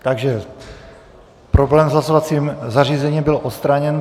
Takže problém s hlasovacím zařízením byl odstraněn.